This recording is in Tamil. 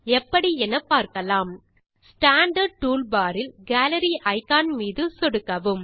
எப்படி என பார்க்கலாம் ஸ்டாண்டார்ட் டூல்பார் இல் கேலரி இக்கான் மீது சொடுக்கவும்